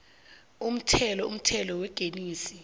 umthelo umthelo wengeniso